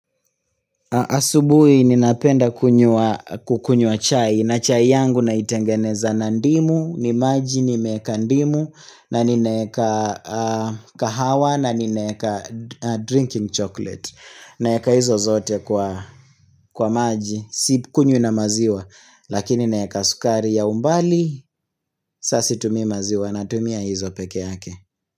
Asubuhi ninapenda kukunywa chai na chai yangu naitengeneza na ndimu ni maji nimeeka ndimu na ninaeka kahawa na ninaeka drinking chocolate naeka hizo zote kwa maji sikunywi na maziwa lakini naeka sukari ya umbali saa situmi maziwa natumia hizo peke yake.